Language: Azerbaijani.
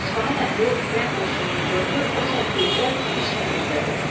İsfahan əhli Firəng qoşununu gördü, o saat bildilər ki, iş nə üzdədir.